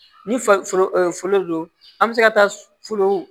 Ni fa foro don an bɛ se ka taa folon